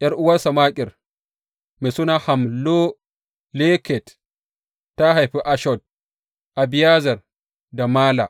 ’Yar’uwarsa Makir mai suna Hammoleket ta haifi Ishod, Abiyezer da Mala.